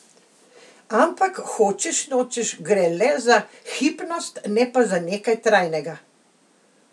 Ampak hočeš nočeš gre le za hipnost, ne pa za nekaj trajnega.